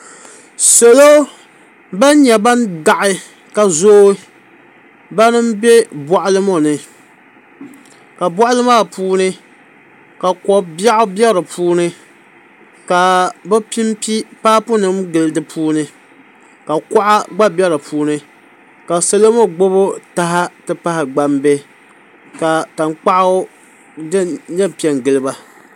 Salo ban nyɛ ban daɣi ka zooi bani n bɛ boɣali ŋo ni ka boɣali maa puuni ka ko biɛɣu bɛ di puuni ka bi pinpi paibu nim gilli di puuni ka kuɣa gba bɛ di puuni ka salo ŋo gbubi taha ti pahi gbambihi ka tankpaɣu piɛpiɛ n giliba